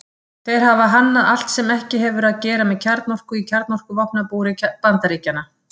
Þeir hafa hannað allt sem ekki hefur að gera með kjarnorku í kjarnorkuvopnabúri Bandaríkjanna.